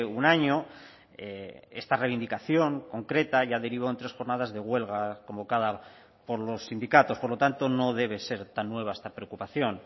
un año esta reivindicación concreta ya derivó en tres jornadas de huelga convocada por los sindicatos por lo tanto no debe ser tan nueva esta preocupación